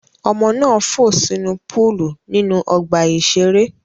Ọmọ náà fò sínú púúlù nínú ọgbà-ìṣeré.